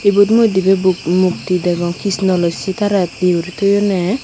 yot mui dibey bu mukti degong Kishno loi Sita rey yo guri toyonney.